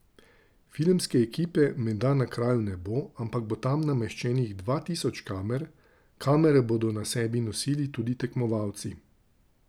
Filmske ekipe menda na kraju ne bo, ampak bo tam nameščenih dva tisoč kamer, kamere bodo na sebi nosili tudi tekmovalci.